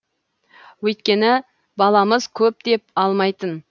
өйткені баламыз көп деп алмайтын